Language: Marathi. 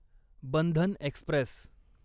बंधन एक्स्प्रेस